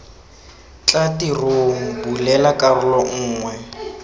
tla tirong bulela karolo nngwe